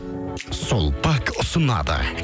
сулпак ұсынады